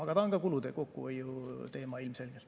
Aga ta on ka kulude kokkuhoiu teema ilmselgelt.